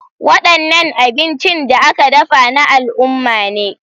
Wadannan abincin da aka dafa na al'umma ne.